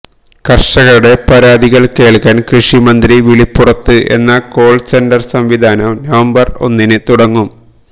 കര്ഷകരുടെ പരാതികള് കേള്ക്കാന് കൃഷി മന്ത്രി വിളിപ്പുറത്ത് എന്ന കോള് സെന്റര് സംവിധാനം നവംബര് ഒന്നിന് തുടങ്ങും